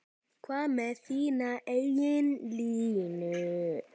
Hvað með þína eigin línu?